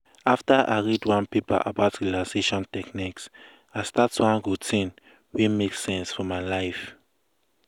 after i read one paper about relaxation techniques i start one routine wey make sense for my life.